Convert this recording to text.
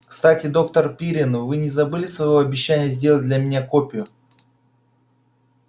кстати доктор пиренн вы не забыли своего обещания сделать для меня копию